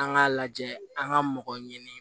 An k'a lajɛ an ka mɔgɔ ɲini